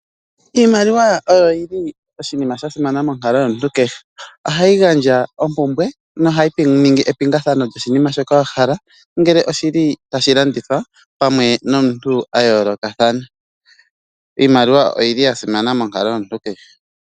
Iimaliwa oyoyili oshinima shasimana monkalo yomuntu kehe. Ohayi gandja opumbwe, nohayiningi epingathano lyoshinina shoka wahala ngele oshili tashilanditha pamwe nomuntu ayolokathana. Iimaliwa oyili yasimana monkalo yomuntu kehe.